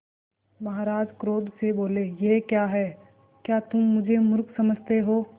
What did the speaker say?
महाराज क्रोध से बोले यह क्या है क्या तुम मुझे मुर्ख समझते हो